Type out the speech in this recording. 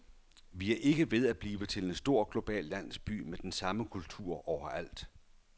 Vi er ikke ved at blive til en stor global landsby med den samme kultur overalt.